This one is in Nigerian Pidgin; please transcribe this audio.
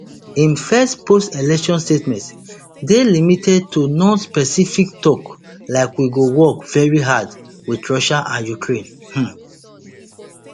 im first postelection statements dey limited to nonspecific tok like we go work veri hard wit russia and ukraine um